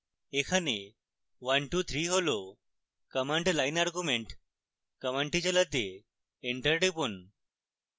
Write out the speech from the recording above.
এখানে one two three হল command line arguments command চালাতে enter টিপুন